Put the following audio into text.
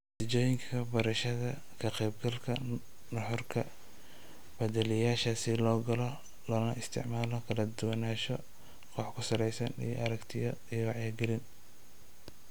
Natiijooyinka barashada, ka-qaybgalka nuxurka, kabaaliyeyaasha si loo galo loona isticmaalo, kala duwanaansho koox-ku-saleysan iyo aragtiyo iyo wacyigelin.